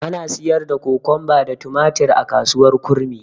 Ana siyar da Kokomba da tumatir a kasuwar kurmi.